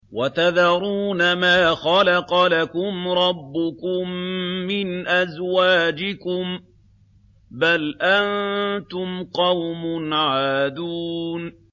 وَتَذَرُونَ مَا خَلَقَ لَكُمْ رَبُّكُم مِّنْ أَزْوَاجِكُم ۚ بَلْ أَنتُمْ قَوْمٌ عَادُونَ